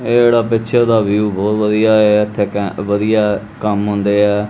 ਇਹ ਇੜਾ ਪਿੱਛੇ ਦਾ ਵਿਊ ਬਹੁਤ ਵਧੀਆ ਇਆ ਇਥੇ ਘੈਂਟ ਵਧੀਆ ਕੰਮ ਹੁੰਦੇ ਆ।